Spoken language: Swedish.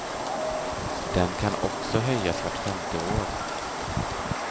Den kan också höjas vart femte år.